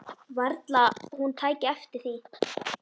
Varla hún tæki eftir því.